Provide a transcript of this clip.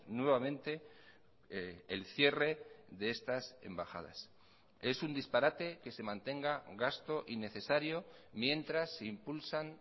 nuevamente el cierre de estas embajadas es un disparate que se mantenga gasto innecesario mientras se impulsan